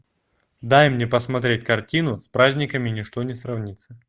дай мне посмотреть картину с праздниками ничто не сравнится